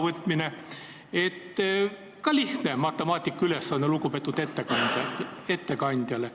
Mul on ka lihtne matemaatikaülesanne lugupeetud ettekandjale.